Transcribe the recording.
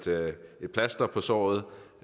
plaster på såret